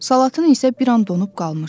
Salatın isə bir an donub qalmışdı.